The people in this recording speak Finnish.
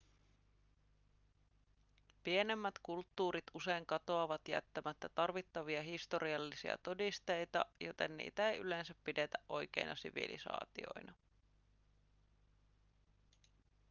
pienemmät kulttuurit usein katoavat jättämättä tarvittavia historiallisia todisteita joten niitä ei yleensä pidetä oikeina sivilisaatioina